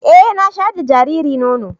E, na shaƴar da jariri nono.